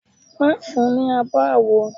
Má fun ní abo àwo.